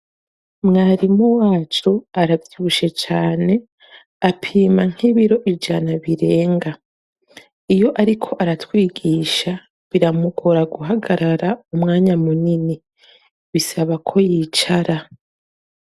Mwarimu wacu aravyibushe cane apima nk'ibiro ijana birenga, iyo ariko aratwigisha biramugora guhagarara umwanya munini, bisaba ko yicara.